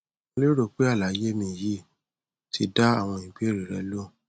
mo lérò pé àlàyé mi yìí ti dá àwọn ìbéèrè rẹ lóhùn